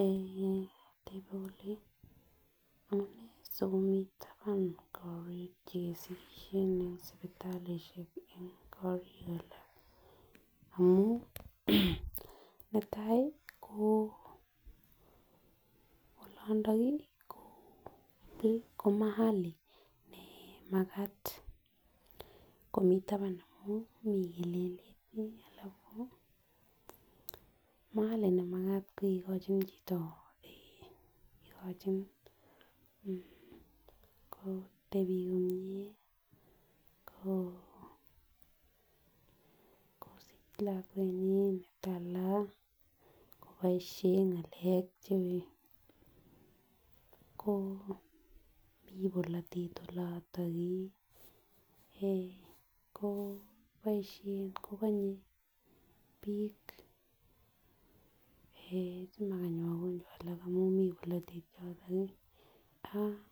Eeh tebe kole amunee sikomii taban korik chekesikishen en sipitalishek en korik alak amun netai ko olindo kii ko mahali nee makat komii taban amun mii kelelet alafu mahali nemakat kikochin chito eeh kikochi mmh kotepi komiee ko kosich lakwenyin netala koboishen ngalek che ko mii bolotet olotok kii eeh ko boishen kokonye bik eeh simakany makonjwa alak amun mii bolotet yotok kii ak